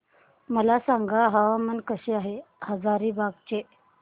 मला सांगा हवामान कसे आहे हजारीबाग चे